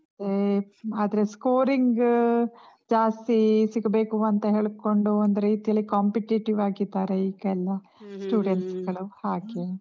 ಮತ್ತೇ ಆದ್ರೆ scoring ಜಾಸ್ತಿ ಸಿಗ್ಬೇಕು ಅಂತ ಹೇಳ್ಕೊಂಡು, ಒಂದು ರೀತಿಯಲ್ಲಿ competitive ಆಗಿದ್ದಾರೆ ಈಗ ಎಲ್ಲ. students ಗಳು, ಹಾಗೆ.